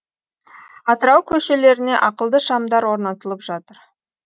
атырау көшелеріне ақылды шамдар орнатылып жатыр